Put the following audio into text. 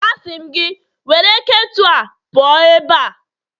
Asị m gị, were ketu a pụọ ebe a!